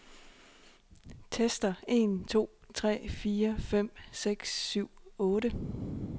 Tester en to tre fire fem seks syv otte.